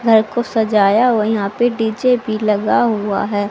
घर को सजाया व यहां पे डी_जे भी लगा हुआ हैं।